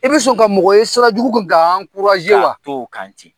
I bɛ sɔn ka mɔgɔ ye sira jugu kan k'ar wa?